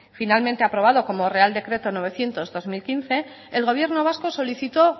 finalmente aprobado como real decreto novecientos barra dos mil quince el gobierno vasco solicitó